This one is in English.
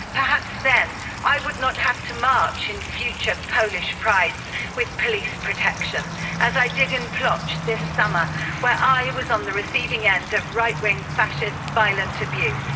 Perhaps then I would not have to march in future Polish Prides with police protection, as I did in Plock this summer, where I was on the receiving end of right wing, fascist violent abuse.